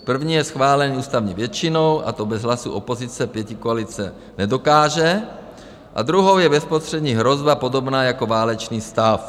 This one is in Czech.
První je schválený ústavní většinou, a to bez hlasu opozice pětikoalice nedokáže, a druhou je bezprostřední hrozba podobná jako válečný stav.